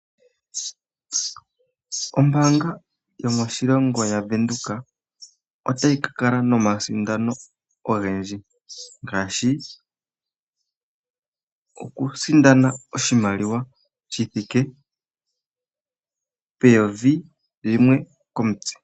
Ombaanga yomoshilongo yavenduka otayi kakala nomasindano ogendji ngaashi okusindana oshimaliwa shi thike peyovi limwe komutse.